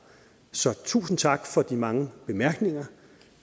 så tusind tak for de mange bemærkninger